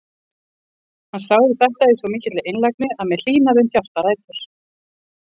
Hann sagði þetta í svo mikilli einlægni að mér hlýnaði um hjartarætur.